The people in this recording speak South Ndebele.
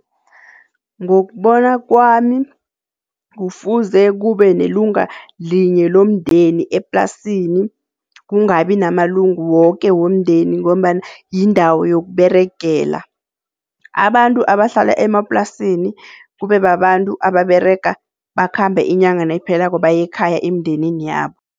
Ngokubona kwami kufuze kube nelunga linye lomndeni eplasini kungabi namalungu woke womndeni ngombana yindawo yokUberegela. Abantu abahlala emaplasini kube babantu ababerega bakhambe inyanga nayiphelako, baye ekhaya emindenini yabo.